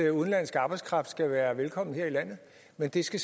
at udenlandsk arbejdskraft skal være velkommen her i landet men at det skal